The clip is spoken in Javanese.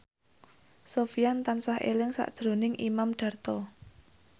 Sofyan tansah eling sakjroning Imam Darto